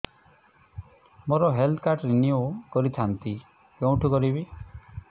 ମୋର health card renew କରିଥାନ୍ତି କୋଉଠି କରିବି